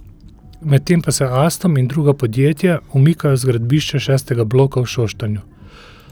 Medtem pa se Alstom in druga podjetja umikajo z gradbišča šestega bloka v Šoštanju.